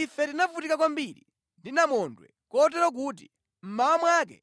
Ife tinavutika kwambiri ndi namondwe kotero kuti mmawa mwake